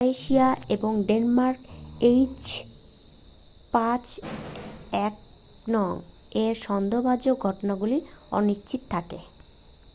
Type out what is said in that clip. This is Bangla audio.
ক্রোয়েশিয়া এবং ডেনমার্কে এইচ৫এন১ এর সন্দেহভাজন ঘটনাগুলি অনিশ্চিত থাকে।